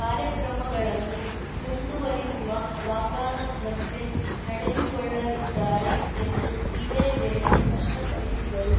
ಕಾರ್ಯಕ್ರಮಗಳನ್ನು ಮುಂದುವರಿಸುವ ವಾಗ್ದಾನದಂತೆ ನಡೆದುಕೊಳ್ಳಲಿದ್ದಾರೆ ಎಂದು ಇದೇ ವೇಳೆ ಸ್ಪಷ್ಟಪಡಿಸಿದರು